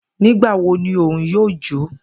Nigbawo ni Oun yoo jo?